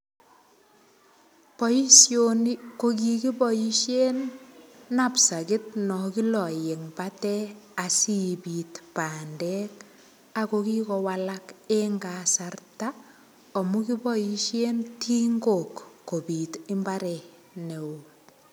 Boishoni ko kikiboishe napstakit no kiloen batet asiibit bandek ako kikowalak eng kasarta amun kiboishen tingok kobit mbaret neo.